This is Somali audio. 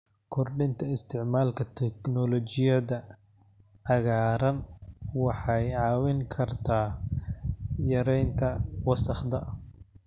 Kordhinta isticmaalka teknoolojiyada cagaaran waxay caawin kartaa yareynta wasakhda.